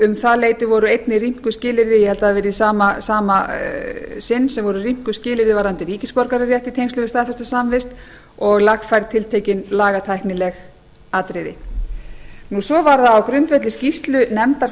um það leyti voru einnig rýmkuð skilyrði ég held að það hafi verið í sama sinn sem voru rýmkuð skilyrði varðandi ríkisborgararétt í tengslum við staðfesta samvist og lagfærð tiltekin lagatæknileg atriði svo var það á grundvelli skýrslu nefndar